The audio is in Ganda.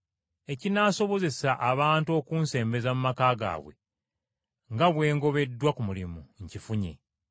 Ekinaasobozesa abantu okunsembeza mu maka gaabwe, nga bwe ngobeddwa ku mulimu, nkifunye.’